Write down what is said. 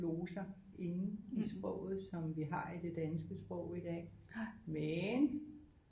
Gloser inde i sproget som vi har i det danske sprog i dag men